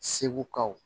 Segukaw